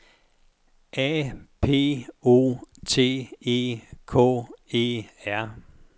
A P O T E K E R